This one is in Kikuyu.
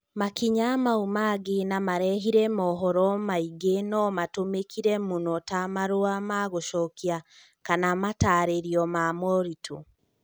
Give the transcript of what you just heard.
Makinya mau mangĩ na marehire mohoro maingĩ no matũmĩkire mũno ta marua ma gũcokia kana mataarĩrio ma moritũ.